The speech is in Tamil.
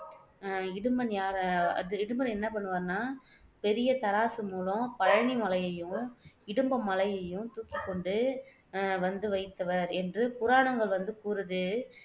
அஹ் இடும்பன் யார் இடும்பன் என்ன பண்ணுவார்னா பெரிய தராசு மூலம் பழனிமலையையும் இடும்பமலையையும் தூக்கிக்கொண்டு அஹ் வந்து வைத்தவர் என்று புராணங்கள் வந்து கூறுது